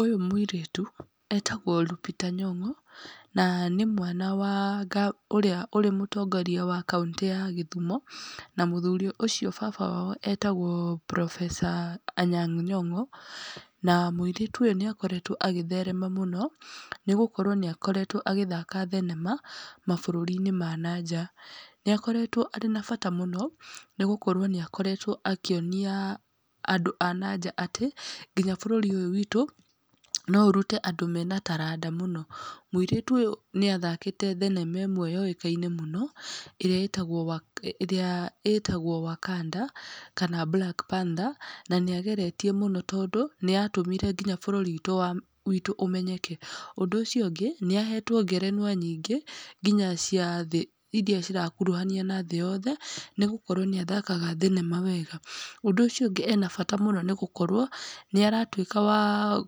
Ũyũ mũirĩtu etagwo Lupita Nyong'o, na nĩ mwana wa nga ũrĩa ũrĩ mũtongoria wa kauntĩ ya Gĩthumo, na mũthuri ũcio baba wao etagwo professor Anyang' Nyong'o. Na mũirĩtu ũyũ nĩakoretwo agĩtherema mũno, nĩgũkorwo nĩakoretwo agĩthaka thenema mabũrũri-inĩ ma na nja. Nĩakoretwo arĩ na bata mũno nĩgũkorwo nĩaoretwo akĩonia andũ a na nja atĩ, nginya bũrũri ũyũ witũ no ũrute andũ mena taranda mũno. Mũirĩtu ũyũ nĩathakĩte thenema ĩmwe yũĩkaine mũno ĩrĩa ĩtagwo Waka, ĩrĩa ĩtagwo Wakanda kana Black Panther, na nĩageretie mũno, tondũ nĩatũmire nginya bũrũri witũ wa bũrũri witũ ũmenyeke. Ũndũ ũcio ũngĩ nĩahetwo ngerenwa nyingĩ nginya cia thĩ iria cirakuruhanio na thĩ yothe nĩgũkorwo nĩathakaga thenema wega. Ũndũ ũcio ũngĩ ena bata mũno nĩgũkorwo nĩaratuĩka wa